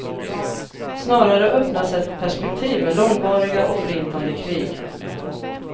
Snarare öppnas ett perspektiv med långvariga och förintande krig.